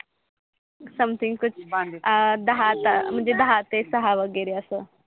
SOMETHING कूच बंदिल दहा तास म्हणजे दहा ते सहा वगेरे अस